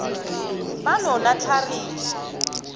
banonatlharini